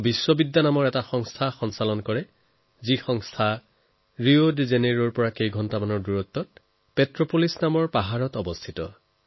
তেওঁ বিশ্ববিদ্যা নামেৰে এটা সংস্থা চলায় যি ৰিঅ ডি জেনেইৰৰ পৰা প্ৰায় এঘণ্টাৰ দূৰত্বত পেট্ৰোপলিছৰ পাহাৰত অৱস্থিত